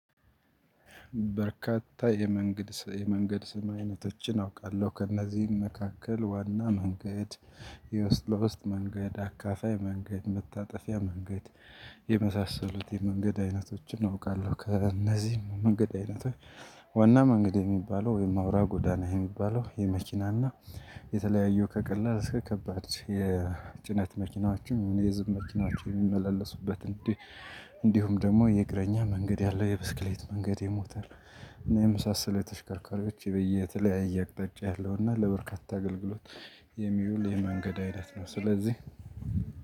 በርካታ የመንገድ ስም አይነቶችን አውቃለሁ ከእነዚህም መካከል ዋና መንገድ የውስጥ ለ ውስጥ መንገድ አካፋይ መንገድ መታጠፊያ መንገድ የመሳሰሉት የመንገድ አይነቶችን አውቃለሁ ከእነዚህም መንገድ አይነቶች ዋና መንገድ የሚባለው ወይም አውራ ጎዳና የሚባለው የመኪናና የተለያዩ ከቀላል እስከ ከባድ የጭነት መኪናዎችን የህዝብ መኪናዎችን የሚመላለሱበት እንዲሁም ደግሞ የእግረኛ መንገድ ያለው የብስክሌት መንገድ የሞተር እና የመሳሰሉ ተሽከርካሪዎች በየተለያየ አቅጣጫ ያለው እና ለበርካታ አገልግሎት የሚውል የመንገድ አይነት ነው። ስለዚህ